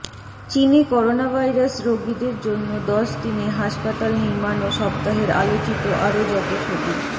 চীনে করোনাভাইরাস রোগীদের জন্য দশ দিনে হাসপাতাল নির্মান ও সপ্তাহের আলোচিত আরো যত ছবি